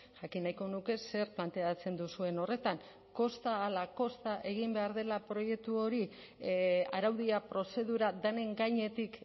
jakin nahiko nuke zer planteatzen duzuen horretan kosta ahala kosta egin behar dela proiektu hori araudia prozedura denen gainetik